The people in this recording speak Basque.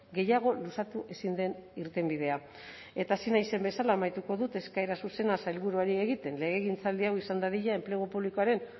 gehiago luzatu ezin den irtenbidea eta hasi naizen bezala amaituko dut eskaera zuzena sailburuari egiten legegintzaldi hau izan dadila enplegu publikoaren